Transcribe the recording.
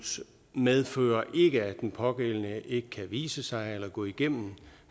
medfører ikke at den pågældende ikke kan vise sig eller gå igennem